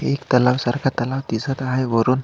एक तलाव सारखा तलाव दिसत आहे वरुन.